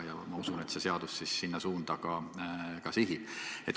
Ma usun, et see seadus sinna suunda ka sihib.